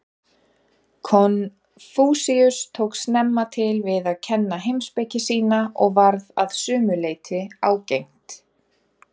Konfúsíus tók snemma til við að kenna heimspeki sína og varð að sumu leyti ágengt.